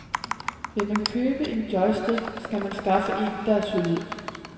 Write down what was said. Vil man købe en joystick, skal man anskaffe en, der er solid.